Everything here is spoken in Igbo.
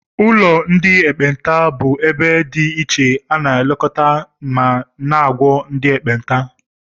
Ụlọ ndị ekpenta bụ ebe dị ichè ana elekota ma na -agwo ndị ekpenta.